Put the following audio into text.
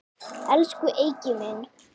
Elsku Eiki minn.